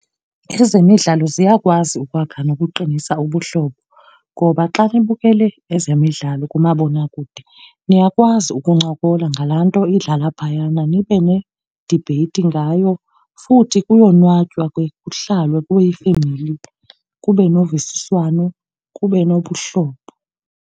Ezemidlalo ziyakwazi ukwakha nokuqinisa ubuhlobo, ngoba xa nibukele ezemidlalo kumabonakude niyakwazi ukuncokola ngalaa nto idlala phayana nibe ne-debate ngayo. Futhi kuyonwatywa ke kuhlalwe kube yifemeli, kube novisiswano, kube nobuhlobo.